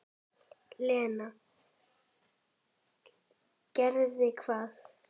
Lena: Gerði hvað?